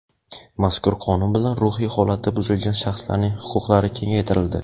mazkur qonun bilan ruhiy holati buzilgan shaxslarning huquqlari kengaytirildi.